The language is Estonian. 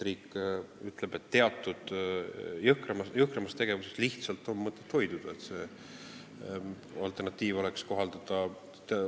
Riik ütleb, et teatud jõhkramast tegevusest on lihtsalt mõtet hoiduda, selleks et see alternatiiv oleks kohaldatav.